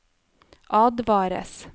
advares